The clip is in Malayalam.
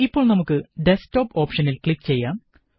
ഇപ്പോള് നമുക്ക് ഡസ്ക് ടോപ് ഓപ്ഷനില് ക്ലിക് ചെയ്യാം